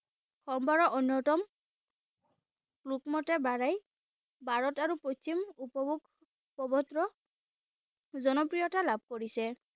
অন্যতম ৰূপমতে বঢ়াই ভাৰত আৰু পশ্চিম উপভোগ প্ৰবৰ্ত্ৰ জনপ্ৰিয়তা লাভ কৰিছে।